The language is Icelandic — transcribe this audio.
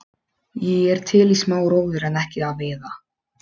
Ég er til í smá róður en ekki að veiða.